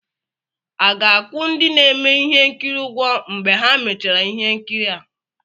A ga-akwụ ndị na-eme ihe nkiri ụgwọ mgbe ha mechara ihe nkiri a?